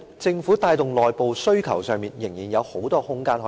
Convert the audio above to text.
政府在帶動內部需求方面，明顯地仍有很大的改善空間。